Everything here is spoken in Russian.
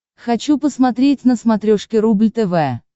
хочу посмотреть на смотрешке рубль тв